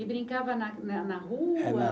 E brincava na na na rua?